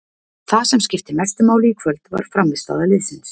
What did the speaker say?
Það sem skipti mestu máli í kvöld var frammistaða liðsins.